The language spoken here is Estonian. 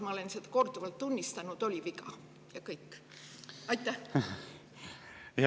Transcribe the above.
Ma olen seda korduvalt tunnistanud, et koroonapassid oli viga, ja kõik.